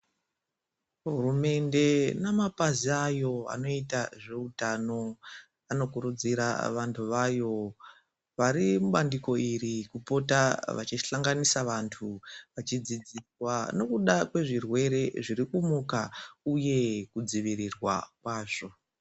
Hurumende namapazi ayo anoita zveutano. Anokurudzira vantu vayo vari mubandiko iri kupota vachihlanganisa vantu. Vachidziswa nekuda kwezvirwere zviri kumuka, uye kudzivirirwa kwazvo.